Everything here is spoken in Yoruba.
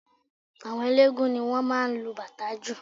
Àwọn eléégún ni wọ́n máa ń lo bàtá jù